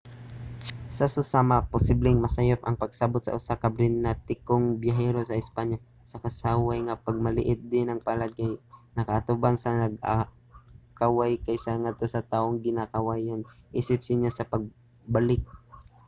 sa susama posibleng masayop ang pagsabot sa usa ka britanikong biyahero sa espanya sa kaway nga pagpanamilit diin ang palad kay nakaatubang sa nagakaway kaysa ngadto sa tawong ginakawayan isip senyas sa pagbalik